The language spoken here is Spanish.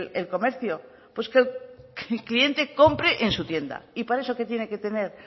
el comercio pues que el cliente compre en su tienda y para eso qué tiene que tener